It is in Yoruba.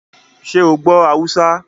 Ṣé o gbọ́ Haúsá?